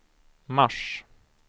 mars